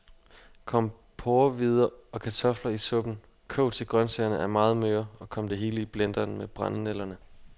Kom porrehvider og kartofler i suppen, kog til grøntsagerne er meget møre, og kom det hele i blenderen med brændenælderne.